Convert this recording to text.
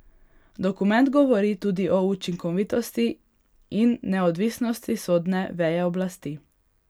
Dokument govori tudi o učinkovitosti in neodvisnosti sodne veje oblasti.